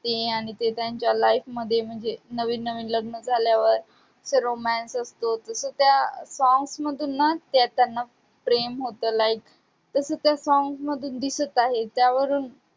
ते आणि ते त्यांच्या life मध्ये म्हणजे नवीन नवीन लग्न झाल्यावर तो romance असतो, जसं त्या songs मधून ना ते त्यांना प्रेम होतं like तसं त्या song मधून दिसत आहे. त्यावरून